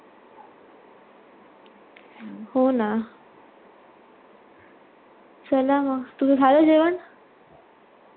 हो ना चला मग तुझ झाल जेवण